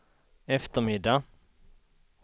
eftermiddag